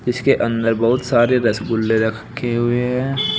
इसके अंदर बहुत सारे रसगुल्ले रख खे हुए हैं।